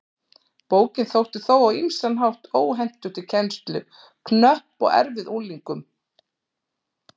Bókin þótti þó á ýmsan hátt óhentug til kennslu, knöpp og erfið unglingum.